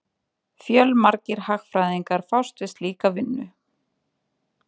Fjölmargir hagfræðingar fást við slíka vinnu.